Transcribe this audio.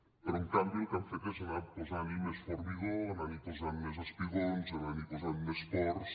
però en canvi el que han fet és anar posant hi més formigó anant hi posant més espigons anant hi posant més ports